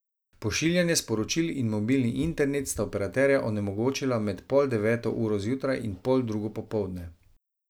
Pošiljanje sporočil in mobilni internet sta operaterja onemogočila med pol deveto uro zjutraj in pol drugo popoldne.